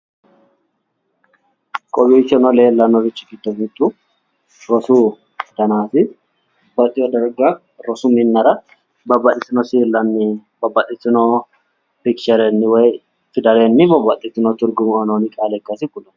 Kowiicho leellannorichi giddo mittu rosu danaati. addi addi darga rosu minnara babbaxxitino pikicherenni woyi fidalenni babbaxxitino tirgume uuyinoonni qaale ikkasi kulanno.